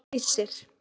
Æsir